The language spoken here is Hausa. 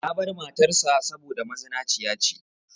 Ya bar matar sa saboda mazinaciya ce.